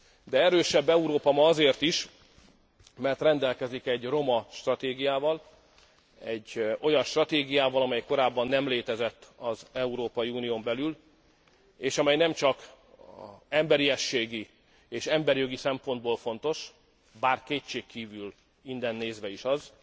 De erősebb Európa ma azért is, mert rendelkezik egy romastratégiával, egy olyan stratégiával, amely korábban nem létezett az Európai Unión belül, és amely nemcsak emberiességi és emberjogi szempontból fontos, bár kétségkívül innen nézve is az,